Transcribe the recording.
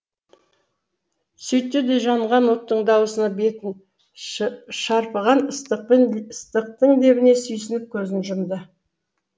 сөйтті де жанған оттың дауысына бетін шарпыған ыстықтың лебіне сүйсініп көзін жұмды